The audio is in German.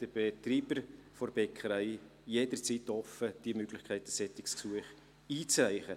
Den Betreibern der Bäckerei steht jederzeit die Möglichkeit offen, ein solches Gesuch einzureichen.